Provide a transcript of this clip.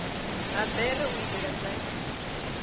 ha bere u itela nzwaliso